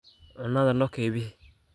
Cunadha nokeybix.